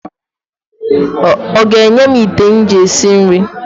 O ga-enye m ite m ji esi nri?